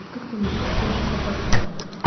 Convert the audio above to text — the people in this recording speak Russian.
вот как ты мог вот прямо сейчас обосрал